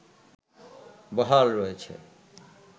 বহাল রয়েছে